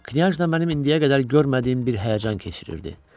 Knyajna mənim indiyə qədər görmədiyim bir həyəcan keçirirdi.